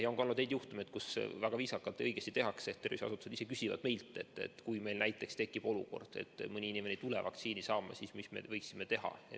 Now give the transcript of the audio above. Ja on ka olnud juhtumeid, kus on väga õigesti tehtud: terviseasutused on meilt viisakalt küsinud, et kui meil tekib olukord, et mõni inimene ei tule vaktsiini saama, siis mis me võiksime teha.